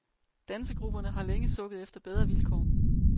Dansegrupperne har længe sukket efter bedre vilkår.